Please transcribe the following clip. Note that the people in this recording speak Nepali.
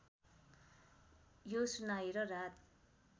यो सुनाएर रात